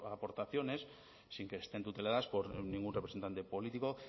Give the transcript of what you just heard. aportaciones sin que estén tuteladas por ningún representante político